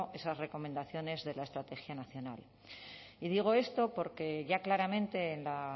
esas recomendaciones de la estrategia nacional y digo esto porque ya claramente en la